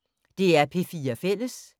DR P4 Fælles